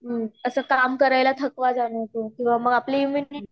अस काम करायला थकवा जाणवतो किंवा आपण आपली इम्यूनिटी